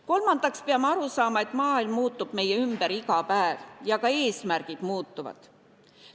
Kolmandaks peame aru saama, et maailm muutub meie ümber iga päev ja ka eesmärgid muutuvad.